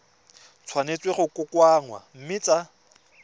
tshwanetse go kokoanngwa mme tsa